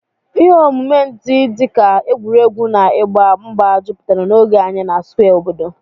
Ihe omume ndị dị ka egwuregwu na ịgba mgba jupụtara n'oge anyị na Square obodo.